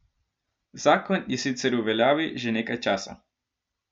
Zakon je sicer v veljavi že nekaj časa.